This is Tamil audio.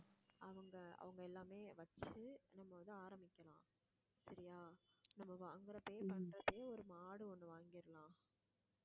அவங்க, அவங்க எல்லாமே வச்சி நம்ம வந்து ஆரம்பிக்கலாம் சரியா நம்ம வாங்கறப்பயே பண்றப்பவே ஒரு மாடு ஒண்ணு வாங்கிடலாம்